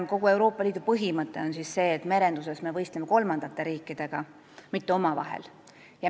Kogu Euroopa Liidu põhimõte on selline, et me merenduses võistleme kolmandate riikidega, mitte omavahel.